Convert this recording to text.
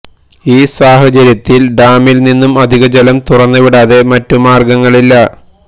ഈ സാഹചര്യത്തിൽ ഡാമിൽ നിന്നും അധിക ജലം തുറന്നു വിടാതെ മറ്റു മാർഗങ്ങളില്ല